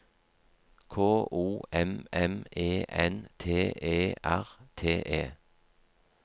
K O M M E N T E R T E